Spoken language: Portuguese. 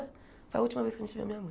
Foi a última vez que a gente viu a minha mãe.